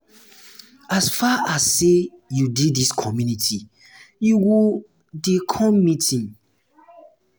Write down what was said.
as far as sey you dey dis community you go um dey come meeting.